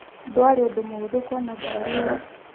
Ndwarĩ ũndũ mũhũthũ kuona ngari ĩyo.